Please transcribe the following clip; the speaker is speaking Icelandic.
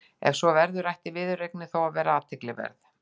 Ef svo verður ætti viðureignin þó að vera athyglisverð.